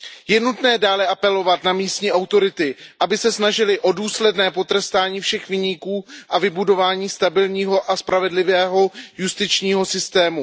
Je nutné dále apelovat na místní autority, aby se snažily o důsledné potrestání všech viníků a vybudování stabilního a spravedlivého justičního systému.